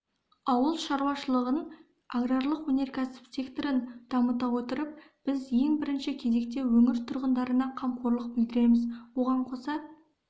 ауыл шаруашылығын аграрлық-өнеркәсіп секторын дамыта отырып біз ең бірінші кезекте өңір тұрғындарына қамқорлық білдіреміз оған қоса